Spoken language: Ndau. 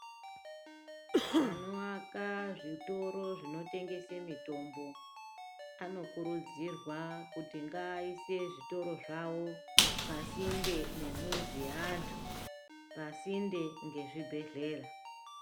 Anoaka zvitoro zvinotengese mitombo. Anokurudzirwa kuti ngaaise zvitoro zvavo pasinde nemuzi yeantu, pasinde ngezvibhedhlera.